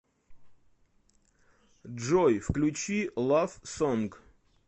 джой включи лав сонг